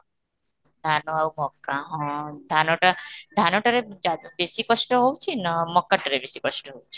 ଧାନ ଆଉ ମକା ହଁ, ଧାନଟା ଧାନ ଟାରେ ବେଶି କଷ୍ଟ ନା ମକା ଟାରେ ବେଶି କଷ୍ଟ ହେଉଛି?